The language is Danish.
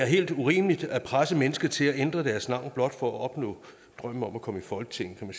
helt urimeligt at presse mennesker til at ændre deres navn blot for at opnå drømmen om at komme i folketinget kan